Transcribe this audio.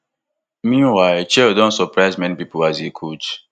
meanwhile chelle don surprise many pipo as a coach